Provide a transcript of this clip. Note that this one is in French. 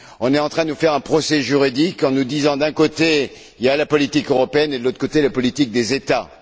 On est en train de nous faire un procès juridique, en nous disant d'un côté Il y a la politique européenne et de l'autre Il y a la politique des États.